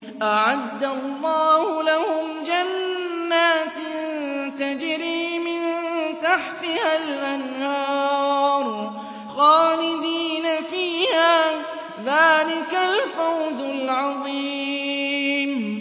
أَعَدَّ اللَّهُ لَهُمْ جَنَّاتٍ تَجْرِي مِن تَحْتِهَا الْأَنْهَارُ خَالِدِينَ فِيهَا ۚ ذَٰلِكَ الْفَوْزُ الْعَظِيمُ